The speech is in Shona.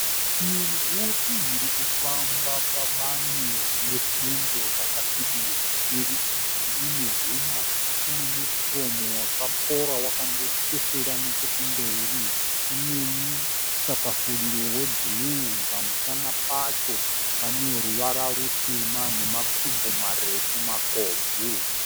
Shiri huru irikufamba pabani rinebundo rakasvibira. Shiri iyi ine huma tsvuku nemukomo wakakora wakandoteswera nechekumberi. Ine musakafuriro webhuruwu, pamusana pacho pane ruvara rutema nemakumbo marefu makobvu.